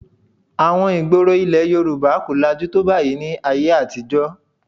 Àwọn ìgboro ilẹ̀ Yorùbá kò lajú tó báyìí ní ayé àtijọ́